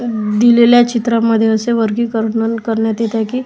दिलेल्या चित्रामध्ये असे वर्गीकरणन करण्यात येत आहे की --